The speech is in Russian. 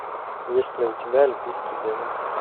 есть ли у тебя альпийский демон